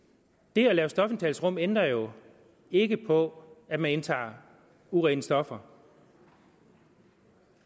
det at lave stofindtagelsesrum ændrer jo ikke på at man indtager urene stoffer